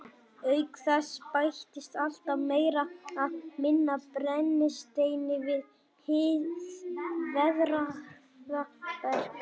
Auk þess bætist alltaf meira eða minna af brennisteini við hið veðraða berg.